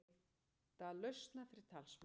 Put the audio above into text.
Leita lausna fyrir talsmann